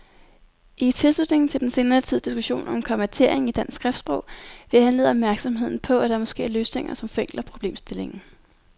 I tilslutning til den senere tids diskussion om kommatering i dansk skriftsprog vil jeg henlede opmærksomheden på, at der måske er løsninger, som forenkler problemstillingen.